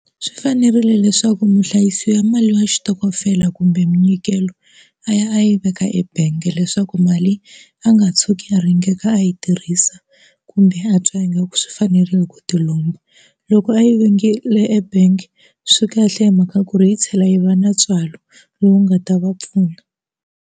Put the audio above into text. Swi fanerile leswaku muhlayisi wa mali ya xitokofela kumbe minyikelo a ya a yi veka ebangi leswaku mali a nga tshuki a ringekile a yi tirhisa kumbe a twa ingaku swi fanerile ku ti lomba loko a yi vhengele ebank swi kahle hi mhaka ku ri yi tlhela yi va na ntswalo lowu nga ta va pfuna.